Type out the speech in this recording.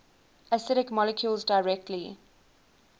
acidic molecules directly